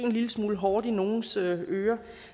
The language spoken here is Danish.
en lille smule hårdt i nogles ører